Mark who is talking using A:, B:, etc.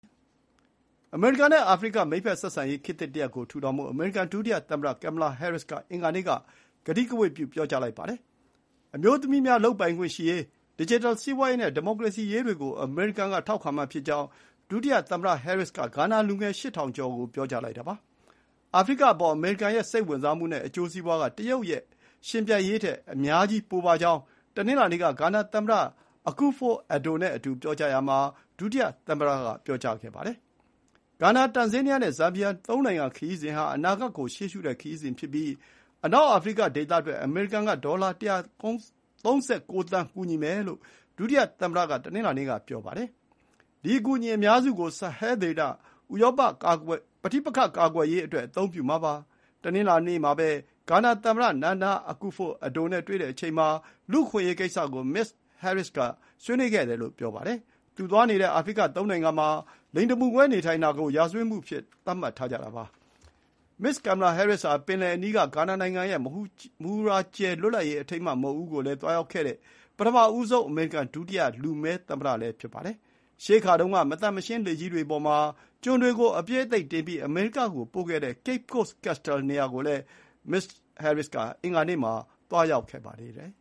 A: အမေရိကန်နဲ့အာဖရိက မိတ်ဖက်ဆက်ဆံရေး ခေတ်သစ်တရပ်ကို ထူထောင်ဖို့ အမေရိကန်ဒုတိယသမ္မတ Kamala Harris က အင်္ဂါနေ့က ကတိကဝတ် ပြုလိုက်ပါတယ်။ အမျိုးသမီးများလုပ်ပိုင်ခွင့်ရှိရေး၊ ဒစ်ဂျစ်တယ်စီးပွါးရေးနဲ့ ဒီမိုကရေစီရေးတွေကို အမေရိကန်က ထောက်ခံမှာဖြစ်ကြောင်း ဒုတိယသမ္မတဟဲရစ်က ဂါနာလူငယ် ၈,၀၀၀ ကျော်ကို ပြောကြားလိုက်တာပါ။ အာဖရိကအပေါ် အမေရိကန်ရဲ့စိတ်ဝင်စားမှုနဲ့အကျိုးစီးပွါးက တရုတ်နဲ့ယှဉ်ပြိုင်ရေးထက် အများကြီးပိုပါကြောင်း တနင်္လာနေ့က ဂါနာသမ္မတ Akufo-Addo နဲ့အတူ ပြောကြားရာမှာ ဒုတိယသမ္မတက ပြောပါတယ်။ ဂါနာ၊ တန်ဇေးနီးယားနဲ့ ဇမ်ဘီယာ ၃ နိုင်ငံခရီးစဉ်ဟာ အနာဂတ်ကို ရှေ့ရှုတဲ့ခရီးစဉ်ဖြစ်ပြီး အနောက်အာဖရိကဒေသအတွက် အမေရိကန်က ဒေါ်လာ ၁၃၉ သန်း ကူညီမယ်လို့ ဒုတိယသမ္မတက တနင်္လာနေ့က ဆိုပါတယ်။ ဒီအကူအညီအများစုကို ဆာဟဲဒေသ ပဋိပက္ခကာကွယ်ရေးအတွက် အသုံးပြုမှာပါ။ တနင်္လာနေ့မှာပဲ ဂါနာသမ္မတ Nana Akufo-Addo နဲ့တွေ့တဲ့အချိန်မှာ လူ့အခွင့်အရေးကိစ္စကို မစ္စဟဲရစ္စ်က ဆွေးနွေးခဲ့တယ်လို့ ပြောပါတယ်။ သူသွားနေတဲ့ အာဖရိကသုံးနိုင်ငံမှာ လိင်တမူကွဲနေထိုင်တာကို ရာဇဝတ်မှုအဖြစ်သတ်မှတ်ထားကြတာပါ။ မစ္စ်ကင်မလာဟဲရစ်္စဟာ ပင်လယ်အနီးက ဂါနာနိုင်ငံရဲ့ မဟူရာကြယ်လွတ်လပ်ရေး အထိမ်းအမှတ်မုခ်ဦးကို သွားရောက်ခဲ့တဲ့ ပထမဆုံး အမေရိကန် ဒုတိယလူမည်း သမ္မတလည်း ဖြစ်ပါတယ်။ ရှေးခါတုန်းက မသန့်မရှင်း လှေကြီးတွေအပေါ်မှာ ကျွန်တွေကို အပြည့်အသိပ်တင်ပြီး အမေရိကကိုပို့ခဲ့တဲ့ Cape Coast Castle နေရာကိုလည်း မစ္စဟဲရစ်စ်က အင်္ဂါနေ့မှာ သွားရောက်ခဲ့ပါသေးတယ်